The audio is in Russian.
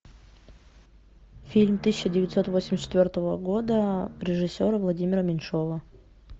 фильм тысяча девятьсот восемьдесят четвертого года режиссера владимира меньшова